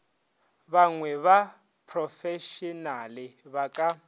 banngwe ba profešenale ba ka